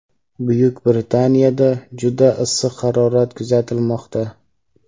Buyuk Britaniyada juda issiq harorat kuzatilmoqda.